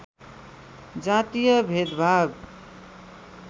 जातीय भेदभाव